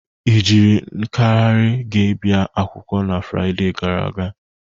Ị jiri nkahịrị gị bia akwụkwọ na Frịde gara aga?